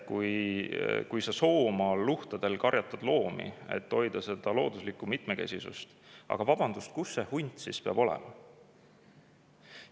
Kui sa Soomaa luhtadel karjatad loomi, et hoida seal looduslikku mitmekesisust – aga vabandust, kus see hunt siis peab olema?